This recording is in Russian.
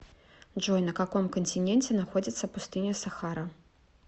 джой на каком континенте находится пустыня сахара